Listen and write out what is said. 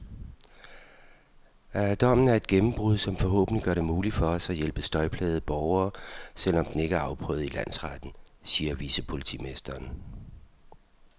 Dommen er et gennembrud, som forhåbentlig gør det muligt for os at hjælpe støjplagede borgere, selv om den ikke er afprøvet i landsretten, siger vicepolitimesteren.